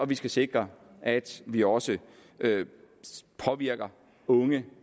vi skal sikre at vi også påvirker unge